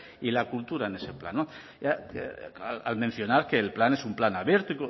y la cultura en ese plan al mencionar que el plan es